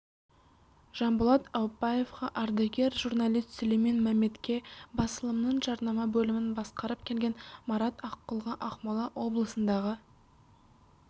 жанболат аупбаевқа ардагер журналист сүлеймен мәметке басылымның жарнама бөлімін басқарып келген марат аққұлға ақмола облысындағы